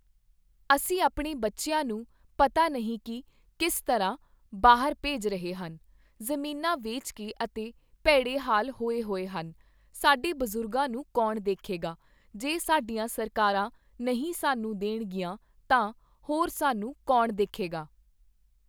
ਅਸੀਂ ਆਪਣੇ ਬੱਚਿਆਂ ਨੂੰ ਪਤਾ ਨਹੀਂ ਕਿ ਕਿਸ ਤਰ੍ਹਾਂ ਬਾਹਰ ਭੇਜ ਰਹੇ ਹਨ, ਜ਼ਮੀਨਾਂ ਵੇਚ ਕੇ ਅਤੇ ਭੈੜੇ ਹਾਲ ਹੋਏ ਹੋਏ ਹਨ। ਸਾਡੇ ਬਜ਼ੁਰਗਾਂ ਨੂੰ ਕੌਣ ਦੇਖੇਗਾ, ਜੇ ਸਾਡੀਆਂ ਸਰਕਰਾਂ ਨਹੀਂ ਸਾਨੂੰ ਦੇਣਗੀਆਂ ਤਾਂ ਹੋਰ ਸਾਨੂੰ ਕੌਣ ਦੇਖੇਗਾ